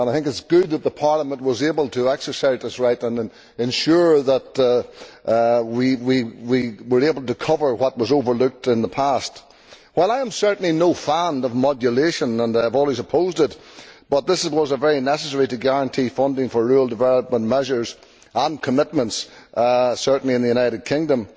I think it is good that Parliament was able to exercise its right and ensure that we were able to cover what was overlooked in the past. While I am certainly no fan of modulation and I have always opposed it, this was very necessary to guarantee funding for rural development measures and commitments, certainly in the United Kingdom.